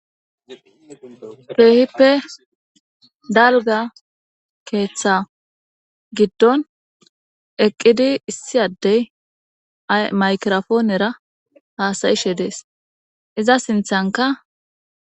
Teehippe dalga keeththa giddon eqqidi issi addey aymakirofoonera haasayishe dees iza sinthanka